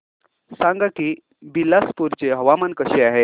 सांगा की बिलासपुर चे हवामान कसे आहे